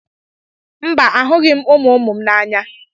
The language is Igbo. Mba, ahụghị m ụmụ ụmụ m n'anya.